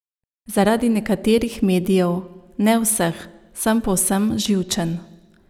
Zaradi nekaterih medijev, ne vseh, sem povsem živčen.